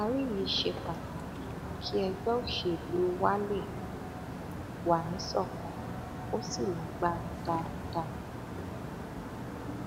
ìdarí yìí ṣe pàtàkì kí ẹgbẹ òṣèlú wa lè wà níṣọkan kó sì lágbára dáadáa